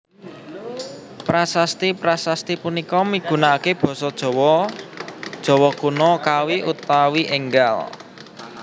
Prasasti prasasti punika migunakaké basa Jawa Jawa Kuna Kawi utawi énggal